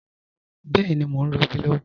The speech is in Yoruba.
Bẹẹni, mọ̀ n rọbí lọwọ